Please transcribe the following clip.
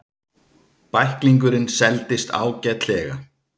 Bæklingurinn seldist ágætlega.